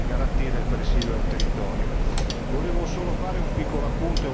uno stimolo per i residenti e garantire il presidio del territorio.